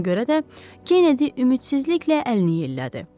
Ona görə də Kennedy ümidsizliklə əlini yellədi.